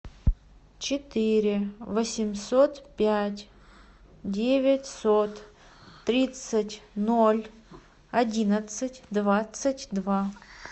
четыре восемьсот пять девятьсот тридцать ноль одиннадцать двадцать два